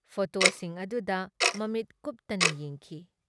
ꯐꯣꯇꯣꯁꯤꯡ ꯑꯗꯨꯗ ꯃꯃꯤꯠ ꯀꯨꯞꯇꯅ ꯌꯦꯡꯈꯤ ꯫